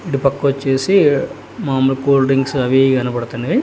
ఇటుపక్కోచ్చేసి మామూలు cool drinks అవిఇవి కనపడుతున్నయ్.